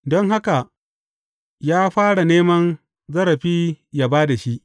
Don haka, ya fara neman zarafi yă ba da shi.